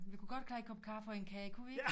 Vi kunne godt klare en kop kaffe og en kage kunne vi ikke